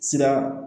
Sira